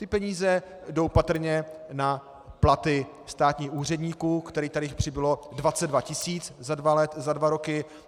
Ty peníze jdou patrně na platy státních úředníků, kterých tady přibylo 22 tisíc za dva roky.